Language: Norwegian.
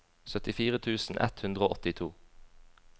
syttifire tusen ett hundre og åttito